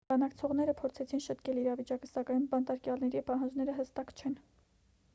բանակցողները փորձեցին շտկել իրավիճակը սակայն բանտարկյալների պահանջները հստակ չեն